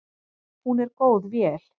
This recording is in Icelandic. Hún er góð vél.